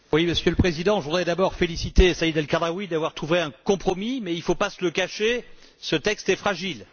Monsieur le Président, je voudrais d'abord féliciter Saïd El Khadraoui d'avoir trouvé un compromis mais, il ne faut pas se le cacher, ce texte est fragile.